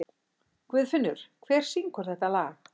Guðfinnur, hver syngur þetta lag?